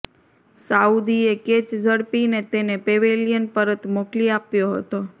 સાઉદીએ catch ઝડપીને તેને pavilion પરત મોકલી આપ્યો હતો